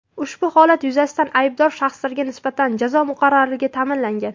Ushbu holat yuzasidan aybdor shaxslarga nisbatan jazo muqarrarligi ta’minlangan.